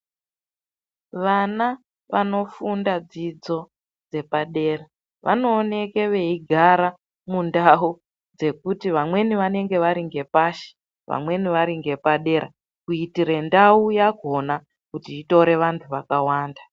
Vana vanofunda dzidzo dzepadera vanooneka veigara mundau dzekuti vamweni vanenge vari ngepashi vamweni vari ngepadera kuitira ndau yakhona kuti itore vantu vakawanda.